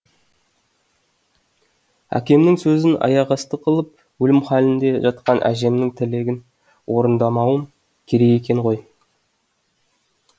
әкемнің сөзін аяқасты қылып өлім халінде жатқан әжемнің тілегін орындамауым керек екен ғой